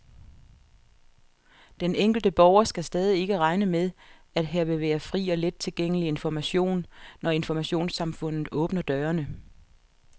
Den enkelte borger skal stadig ikke regne med, at her vil være fri og let tilgængelig information, når informationssamfundet åbner dørene.